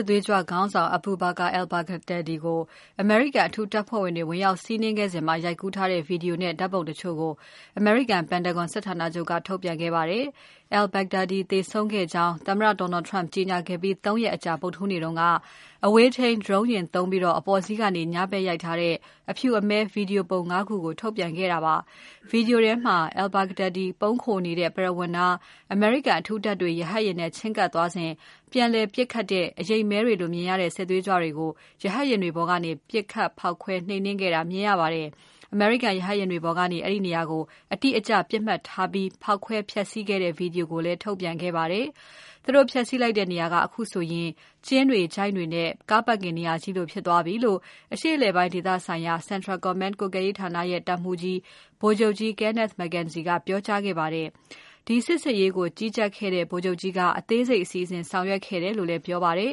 စ်သွေးကြွခေါင်းဆောင် Abu Bakr al-Baghdadi ကို အမေရိကန်အထူးတပ်ဖွဲ့တွေ ဝင်ရောက်စီးနင်းခဲ့စဉ် ရိုက်ကူးထားတဲ့ Video နဲ့ ဓါတ်ပုံတချို့ကို အမေရိကန် Pentagon စစ်ဌာနချုပ်က ထုတ်ပြန်ခဲ့ပါတယ်။ al-Baghdadi သေဆုံးခဲ့ကြောင်း သမ္မတ Donald Trump ကကြေညာခဲ့ပြီး ၃ ရက်အကြာ ဗုဒ္ဓဟူးနေ့က အဝေးထိန်း Drone ယာဉ်သုံးပြီး အပေါ်စီးကနေ ညဘက်ရိုက်ထားတဲ့ အဖြူအမည်း Video ပုံ ငါး ခုကို ထုတ်ပြန်ခဲ့တာပါ။ Video ထဲမှာ al-Baghdadi ပုန်းခိုနေတဲ့ ပရဝဏ်နား အမေရိကန်အထူးတပ်တွေ ရဟတ်ယာဉ်တွေနဲ့ ချဉ်းကပ်သွားစဉ် ပြန်လည်ပစ်ခတ်တဲ့ အရိပ်မည်းတွေလိုမြင်ရတဲ့ စစ်သွေးကြွတွေကို ရဟတ်ယာဉ်တွေပေါ်ကနေ ပစ်ခတ် ဖေါက်ခွဲနှိမ်နှင်းခဲ့တာကို မြင်ရပါတယ်။ အမေရိကန် ရဟတ်ယာဉ်ပေါ်ကနေ အဲဒီနေရာကို အတိအကျ ပစ်မှတ်ထားပြီး ဖောက်ခွဲဖျက်စီးခဲ့တဲ့ Video ကိုလည်း ထုတ်ပြန်ခဲ့ပါတယ်။ သူတို့ ဖျက်စီးလိုက်တဲ့နေရာက အခုဆိုရင် ကျင်းတွေချိုင့်တွေနဲ့ ကားပါကင်နေရာကြီးလိုဖြစ်သွားပြီလို့ အရှေ့အလယ်ပိုင်းဒေသဆိုင်ရာ Central Command ကွပ်ကဲရေးဌာနရဲ့ တပ်မှူးကြီး ဗိုလ်ချုပ်ကြီး Kenneth McKenzie ကပြောကြးာခဲ့ပါတယ်။ ဒီစစ်ဆင်ရေးကို ကြီးကြပ်ခဲ့တဲ့ ဗိုလ်ချုပ်ကြီးက အသေးစိတ်စီစဉ် ဆောင်ရွက်ခဲ့တယ်လို့လည်း ပြောကြားခဲ့ပါတယ်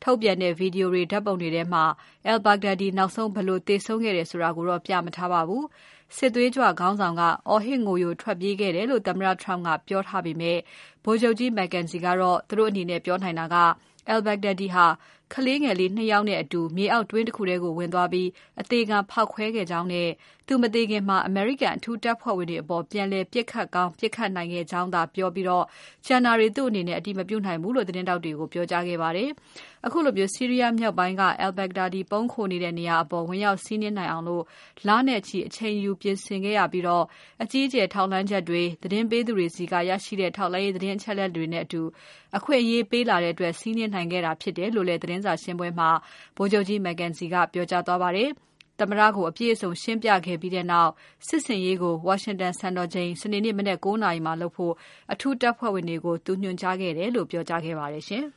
။ ထုတ်ပြန်တဲ့ Video တွေ ဓါတ်ပုံတွေထဲမှာ al-Baghdadi နောက်ဆုံး ဘယ်လို သေဆုံးခဲ့တယ်ဆိုတာတော့ မပြထားပါဘူး။ စစ်သွေးကြွခေါင်းဆောင်က အော်ဟစ် ငိုယိုထွက်ပြေးခဲ့တယ်လို့ သမ္မတ Trump ကပြောထားပေမဲ့ ဗိုလ်ချုပ်ကြီး McKenzie ကတော့ သူတို့အနေနဲ့ ပြောနိုင်တာက al-Baghdadi ဟာ ကလေးငယ်လေး ၂ ယောက်နဲ့အတူ မြေအောက်တွင်းတခုထဲကို ဝင်သွားပြီး အသေခံဖေါက်ခွဲခဲ့ကြောင်းနဲ့ သူမသေခင် အမေရိကန် အထူးတပ်ဖွဲ့ဝင်တွေအပေါ် ပြန်လည်ပစ်ခတ်ကောင်း ပစ်ခတ်ခဲ့နိုင်ကြောင်းသာပြောပြီး ကျန်တာတွေ သူ့အနေနဲ့ အတည်မပြုနိုင်ဘူးလို့ သတင်းထောက်တွေကို ပြောကြားခဲ့ပါတယ်။ ခုလို ဆီးရီးယားမြောက်ပိုင်းမှာ al-Baghdadi ပုန်းခိုနေတဲ့ နေရာအပေါ် ဝင်ရောက်စီးနင်နိုင်အောင် လနဲ့ချီ အချိန်ယူပြင်ဆင်ခဲ့ရပြီး အကြီးအကျယ် ထောက်လှမ်းချက်တွေ၊ သတင်းပေးသူတွေဆီကနေ ရရှိတဲ့ ထောက်လှမ်းရေး သတင်းအချက်အလက်တွေနဲ့အတူ အခွင့်အရေးပေးလာတဲ့အတွက် စီးနင်းနိုင်ခဲ့တာ ဖြစ်တယ်လို့လည်း သတင်းစာရှင်းပွဲမှာ ဗိုလ်ချုပ်ကြီး McKenzie ကပြောပါတယ်။ သမ္မတကို အပြည့်အစုံရှင်းပြခဲ့ပြီးနောက် စစ်ဆင်ရေးကို ဝါရှင်တန်စံတော်ချိန် စနေနေ့ မနက် ၉ နာရီမှာလုပ်ဖို့ အထူးတပ်ဖွဲ့ဝင်တွေကို ညွှန်ကြားခဲ့တယ်လို့ ပြောကြားခဲ့ပါတယ်ရှင်။